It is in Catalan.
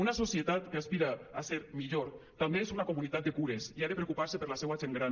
una societat que aspira a ser millor també és una comunitat de cures i ha de preocupar se per la seua gent gran